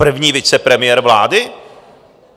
První vicepremiér vlády?